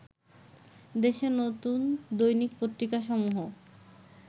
দেশে নতুন দৈনিক পত্রিকা সমূহ